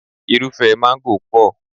Irúfẹ́ mángó pọ̀.